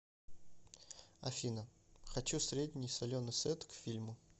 афина хочу средний соленый сет к фильму